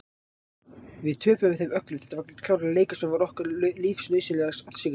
Við töpuðum þeim öllum, þetta var klárlega leikur sem var okkur lífsnauðsynlegur að sigra.